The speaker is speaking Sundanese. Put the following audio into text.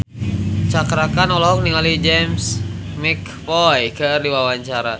Cakra Khan olohok ningali James McAvoy keur diwawancara